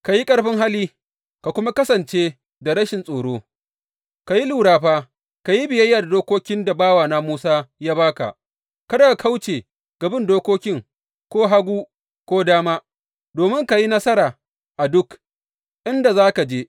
Ka yi ƙarfin hali ka kuma kasance da rashin tsoro, ka yi lura fa, ka yi biyayya da dokokin da bawana Musa ya ba ka; kada ka kauce ga bin dokokin ko hagu ko dama, domin ka yi nasara a duk, inda za ka je.